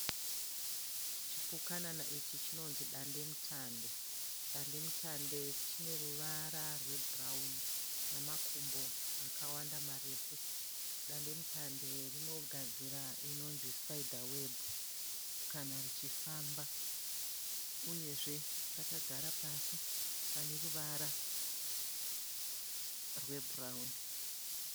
Chipukanana ichi chinonzi dande mutande. Dande mutande chine ruvara rwebhurawuni namakumbo akawanda marefu. Dande mutande rinogadzira inonzi sipaidha webhu kana richifamba. Uyezve rakagara pasi pane ruvara rwebhurawuni